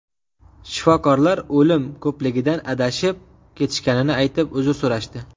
Shifokorlar o‘lim ko‘pligidan adashib ketishganini aytib, uzr so‘rashdi.